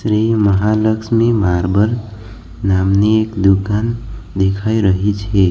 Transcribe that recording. અહીં મહાલક્ષ્મી માર્બલ નામની એક દુકાન દેખાઈ રહી છે.